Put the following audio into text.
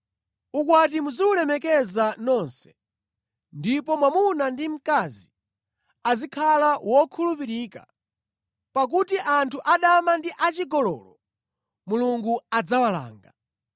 Ukwati muziwulemekeza nonse, ndipo mwamuna ndi mkazi azikhala wokhulupirika, pakuti anthu adama ndi achigololo Mulungu adzawalanga.